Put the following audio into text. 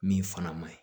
Min fana ma ɲi